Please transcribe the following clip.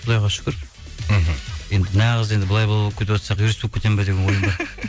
құдайға шүкір мхм енді нағыз енді былай болып кетіватсақ юрист болып кетемін бе деген